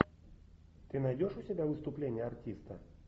ты найдешь у себя выступление артиста